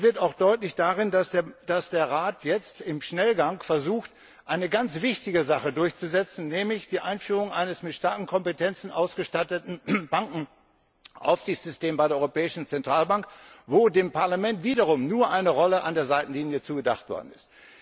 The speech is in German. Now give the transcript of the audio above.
Das wird auch daran deutlich, dass der Rat jetzt im Schnellgang versucht, eine ganz wichtige Sache durchzusetzen, nämlich die Einführung eines mit starken Kompetenzen ausgestatteten Bankenaufsichtssystems bei der Europäischen Zentralbank, wo dem Parlament wiederum nur eine Rolle an der Seitenlinie zugedacht worden ist.